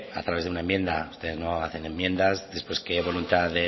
a través de una enmienda ustedes no hacen enmiendas después qué voluntad